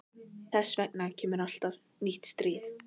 Þess vegna kemur alltaf nýtt stríð.